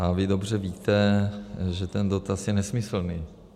A vy dobře víte, že ten dotaz je nesmyslný.